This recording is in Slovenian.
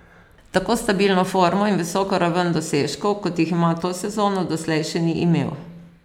Tako stabilno formo in visoko raven dosežkov, kot jih ima to sezono, doslej še ni imel.